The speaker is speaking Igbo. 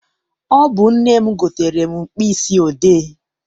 Ọ bụ nne m gotere m mkpịsị odee.